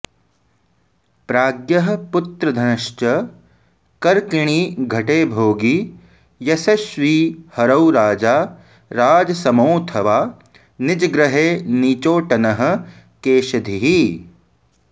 प्राज्ञः पुत्रधनश्च कर्किणि घटे भोगी यशस्वी हरौ राजा राजसमोऽथवा निजगृहे नीचोऽटनः केशधीः